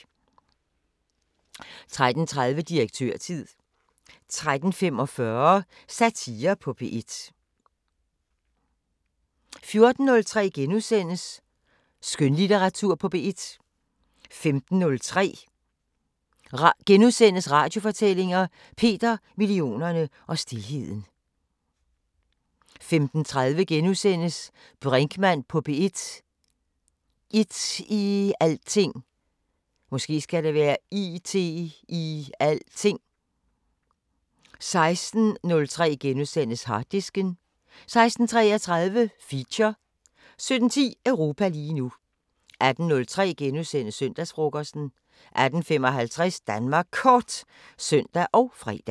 13:30: Direktørtid 13:45: Satire på P1 14:03: Skønlitteratur på P1 * 15:03: Radiofortællinger: Peter, millionerne og stilheden * 15:30: Brinkmann på P1: It-i-alting * 16:03: Harddisken * 16:33: Feature 17:10: Europa lige nu 18:03: Søndagsfrokosten * 18:55: Danmark Kort (søn og fre)